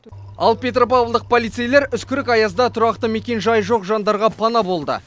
ал петропавлдық полицейлер үскірік аязда тұрақты мекенжайы жоқ жандарға пана болды